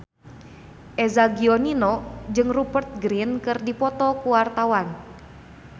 Eza Gionino jeung Rupert Grin keur dipoto ku wartawan